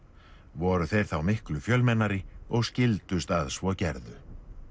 voru þeir þá miklu fjölmennari og skildust að svo gerðu